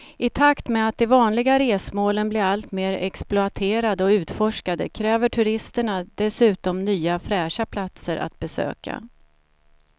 I takt med att de vanliga resmålen blir allt mer exploaterade och utforskade kräver turisterna dessutom nya fräscha platser att besöka.